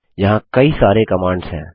यहाँ कई सारी कमांड्स हैं